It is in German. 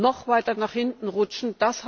noch weiter nach hinten rutschen.